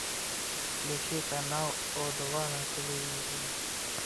включи канал о два на телевизоре